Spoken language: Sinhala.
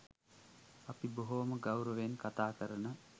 අපි බොහෝම ගෞරවයෙන් කතා කරන